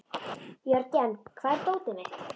Jörgen, hvar er dótið mitt?